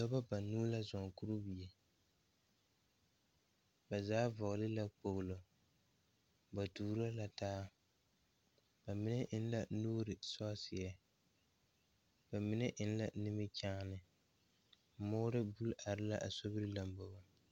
Dɔɔba banuu la zɔŋ kuriwiire ba zaa vɔgle la kpolo ba tuuro la taa bamine eŋ la nuure sɔsiiri bamine eŋ la nimikyaane moɔre buli are la a sobiiri lanbobo.